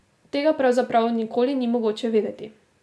Tega pravzaprav nikoli ni mogoče vedeti.